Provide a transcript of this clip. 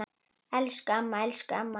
Elsku amma, elsku elsku amma.